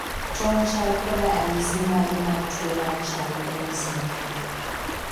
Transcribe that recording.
Ton chal koda anyisi mage mar tuo mar Charlie M syndrome?